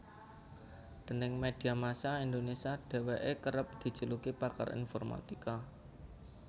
Déning media massa Indonesia dheweke kerep dijuluki pakar informatika